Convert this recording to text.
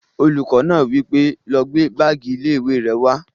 Olùkọ́ náà wí pé, "lọ gbé báàgì ilé-ìwé rẹ wá!"